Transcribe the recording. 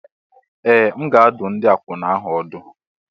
Ee! M ga-adụ ndị akwụna ahụ ọdụ.